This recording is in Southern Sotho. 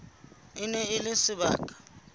e ne e le sebaka